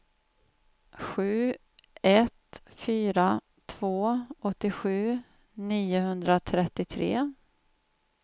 sju ett fyra två åttiosju niohundratrettiotre